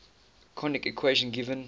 conic equation given